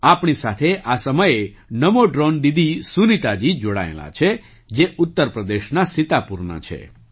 આપણી સાથે આ સમયે નમો ડ્રૉન દીદી સુનીતાજી જોડાયેલાં છે જે ઉત્તર પ્રદેશના સીતાપુરનાં છે